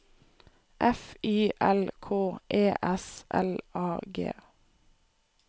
F Y L K E S L A G